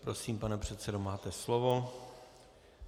Prosím, pane předsedo, máte slovo.